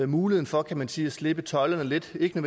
mulighed for kan man sige at slippe tøjlerne lidt ikke